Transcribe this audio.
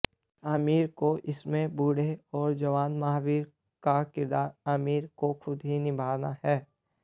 आमिर को इसमें बूढ़े और जवान महावीर का किरदार आमिर को खुद ही निभाना है